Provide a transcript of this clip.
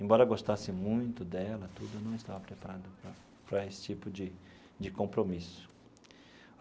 Embora eu gostasse muito dela tudo, eu não estava preparado para para esse tipo de de compromisso.